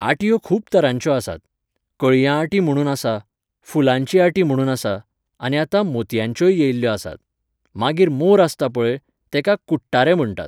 आटयो खूब तरांच्यो आसात. कळयां आटी म्हणून आसा फुलांची आटी म्हणून आसा आनी आतां मोतयांच्योय येयल्ल्यो आसात. मागीर मोर आसता पळय, तेका कुट्टारे म्हणटात